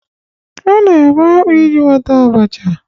A na-ebe akpu iji nweta abacha